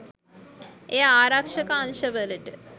එය ආරක්‍ෂක අංශවලට